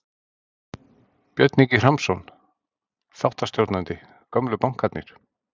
Björn Ingi Hrafnsson, þáttastjórnandi: Gömlu bankarnir?